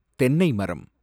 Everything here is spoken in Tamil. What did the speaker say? தென்னைமரம்